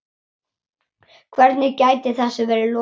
Hvernig gæti þessu verið lokið?